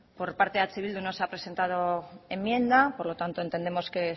por parte de eh bildu no se ha presentado enmienda por lo tanto entendemos que